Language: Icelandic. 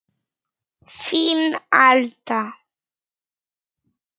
Þín, Alda.